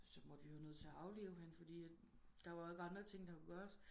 Så måtte vi være nødt til at aflive hende fordi der ikke var andre ting der kunne gøres